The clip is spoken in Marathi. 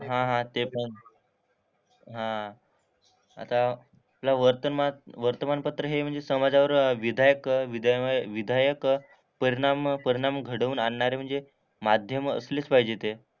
हां हां ते पण. हां. आता आपला वर्तमात वर्तमानपत्र हे म्हणजे समाजावर विधायक विधयमय विधायक परिणाम परिणाम घडवून आणणारे म्हणजे माध्यम असलेच पाहिजे ते.